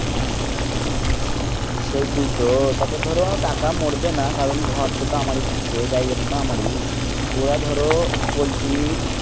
সেতুই তো তারপর ধরো টাকা মরবে না কারণ ঘরত তো আমারি থাকছে জায়গা তা তো আমারি ওয়া ধরো পোল্টি